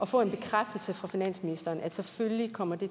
få en bekræftelse fra finansministeren på at selvfølgelig kommer det